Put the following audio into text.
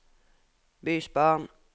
bysbarn